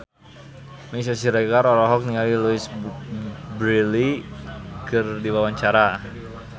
Meisya Siregar olohok ningali Louise Brealey keur diwawancara